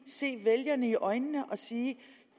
se vælgerne i øjnene og sige